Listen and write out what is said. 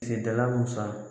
Kiledala musanin